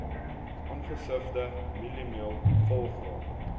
ongesifde mieliemeel volgraan